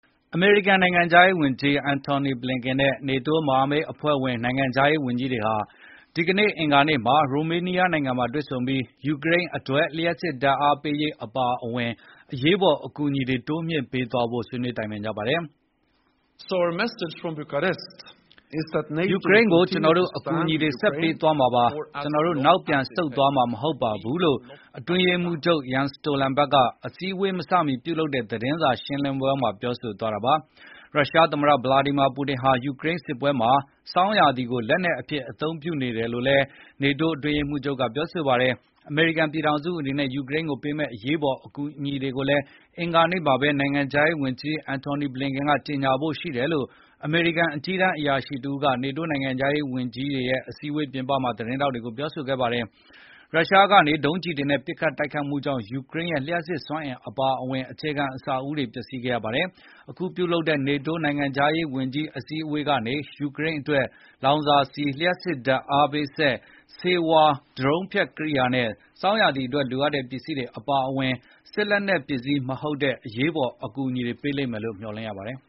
အမေရိကန်နိုင်ငံခြားရေးဝန်ကြီး Antony Blinken နဲ့ မြောက်အန္တလန်တိတ်စာချုပ် NATO မဟာမိတ်အဖွဲ့ဝင် နိုင်ငံခြားရေးဝန်ကြီးတွေဟာ ဒီကနေ့ အင်္ဂါနေ့မှာ ရိုမေးနီးယားနိုင်ငံမှာတွေ့ဆုံပြီး ယူကရိန်းအတွက် လျှပ်စစ်ဓာတ်အားပေးရေးအပါအဝင် အရေးပေါ်အကူအညီတွေ တိုးမြှင့်ပေးဖို့ ဆွေးနွေးကြပါတယ်။ “ယူကရိန်းကို ကျနော်တို့ အကူအညီတွေဆက်ပေးသွားမှာပါ။ ကျနော်တို့နောက်ပြန်ဆုတ်သွားမှာမဟုတ်ပါဘူး” လို့ NATO မဟာမိတ်အဖွဲ့ အတွင်းရေးမှူးချုပ် Jens Stolenberg က အစည်းဝေးမစမီ ပြုလုပ်တဲ့ သတင်းစာရှင်းလင်းပွဲမှာ ပြောဆိုသွားတာပါ။ ရုရှားသမ္မတ ဗလာဒီမာပူတင်ဟာ ဆောင်းရာသီကို လက်နက်တခုလို အသုံးပြုနေတယ်လို့လည်း NATO အတွင်းရေးမှူးချုပ် Jens Stolenberg ကပြောဆိုခဲ့ပါတယ်။ အမေရိကန်ပြည်ထောင်စုက ယူကရိန်းကိုပေးမယ့် အရေးပေါ် အကူအညီတွေကိုတော့ နိုင်ငံခြားရေးဝန်ကြီး ဘလင်ကန်က ဒီကနေ့ ကြေညာဖို့ ရှိတယ်လို့ အမေရိကန် အကြီးတန်းအရာရှိက NATO နိုင်ငံခြားရေးဝန်ကြီးတွေရဲ့ အစည်းအဝေးပြင်ပမှာ သတင်းထောက်တွေကို ပြောဆိုခဲ့ပါတယ်။ ရုရှားကနေ ဒုံးကျည်တွေနဲ့ ပစ်ခတ်တိုက်ခိုက်မှုကြောင့် ယူကရိန်းရဲ့ လျှပ်စစ်စွမ်းအင်အပါအဝင် အခြေခံအဆောက်အအုံတွေ ပျက်စီးခဲ့ရပါတယ်။ အခုပြုလုပ်တဲ့ NATO နိုင်ငံခြားရေးဝန်ကြီးတွေရဲ့အစည်းအဝေးကနေ ယူကရိန်းအတွက် လောင်စာဆီ၊ လျပ်စစ်ဓာတ်အား ပေးစက်၊ ဆေးဝါး၊ ဒရုန်းဖျက်ကရိယာနဲ့ ဆောင်းရာသီအတွက်လိုအပ်တဲ့ ပစ္စည်းတွေအပါအဝင် စစ်လက်နှက်ပစ္စည်း မဟုတ်တဲ့ အရေးအပေးအကူညီတွေ တိုးမြှင့် ပေးလိမ့်မယ်လို့ မျှော်လင့်ရပါတယ်